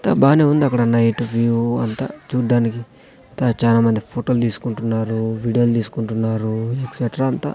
అంతా బానే ఉంది అక్కడ నైట్ వ్యూ అంతా చూడ్డానికి అంతా చానా మంది ఫోటో లు తీసుకుంటున్నారు వీడియో లు తీసుకుంటున్నారు ఎక్సెట్రా అంతా.